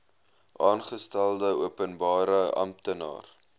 aangestelde openbare amptenaar